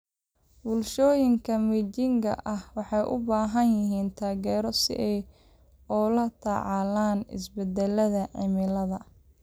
Bulshooyinka miyiga ah waxay u baahan yihiin taageero si ay ula tacaalaan isbedelada cimilada.